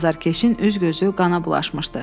Azarkeşin üz-gözü qana bulaşmışdı.